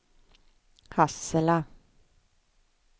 Hassela